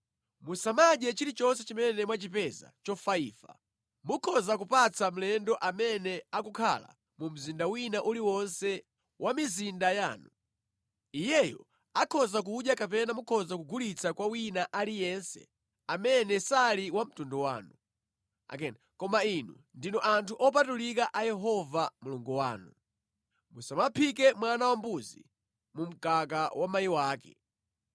Musamadye chilichonse chimene mwachipeza chofaifa. Mukhoza kupatsa mlendo amene akukhala mu mzinda wina uliwonse wa mizinda yanu. Iyeyo akhoza kudya kapena mukhoza kugulitsa kwa wina aliyense amene sali wa mtundu wanu. Koma inu ndinu anthu opatulika a Yehova Mulungu wanu. Musamaphike mwana wambuzi mu mkaka wa mayi wake.